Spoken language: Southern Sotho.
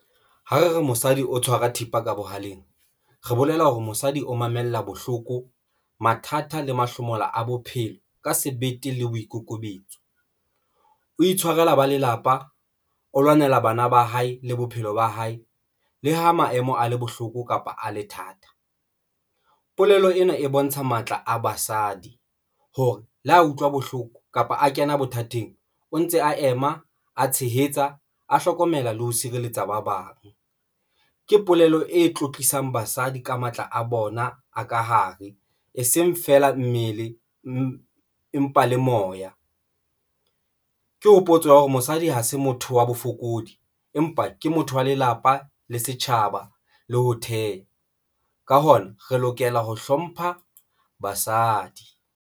Ha re re mosadi o tshwara thipa ka bohaleng, re bolela hore mosadi o mamella bohloko, mathata le mahlomola a bophelo ka sebete le boikokobetso, o itshwarela ba lelapa, o lwanela bana ba hae le bophelo ba hae. Le ha maemo a le bohloko kapa a le thata, polelo ena e bontsha matla a basadi hore le ha utlwa bohloko kapa a kena bothateng, o ntse a ema, a tshehetsa, a hlokomela le ho sireletsa ba bang. Ke polelo e tlotlisang basadi ka matla a bona a ka hare, e seng feela mmele empa le moya. Ke hopotswa hore mosadi ha se motho wa bofokodi empa ke motho wa lelapa le setjhaba, le ho theha ka hona re lokela ho hlompha basadi.